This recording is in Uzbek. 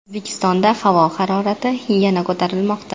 O‘zbekistonda havo harorati yana ko‘tarilmoqda.